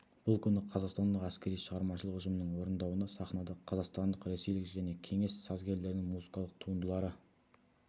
бұл күні қазақстандық әскери шығармашылық ұжымның орындауында сахнада қазақстандық ресейлік және кеңес сазгерлерінің музыкалық туындылары